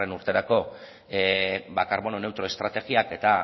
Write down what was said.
urterako karbono neutro estrategiak eta